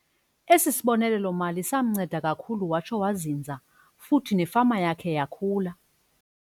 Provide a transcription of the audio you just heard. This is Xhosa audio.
Esi sibonelelo-mali samnceda kakhulu watsho wazinza futhi nefama yakhe yakhula.